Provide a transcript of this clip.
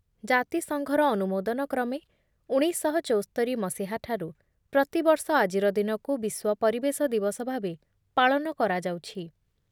ଜାତିସଂଘର ଅନୁମୋଦନ କ୍ରମେ ଉଣେଇଶଶହ ଚଉସ୍ତରି ମସିହାଠାରୁ ପ୍ରତିବର୍ଷ ଆଜିର ଦିନକୁ ବିଶ୍ଵ ପରିବେଶ ଦିବସ ଭାବେ ପାଳନ କରାଯାଉଛି ।